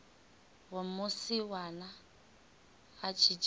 wa musiwana a tshi dzhena